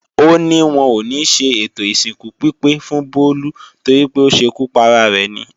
Ó ní wọn ò níṣe ètò ìsìnkú pípé fún Bólú torípé ó ṣekú para rẹ̀ ni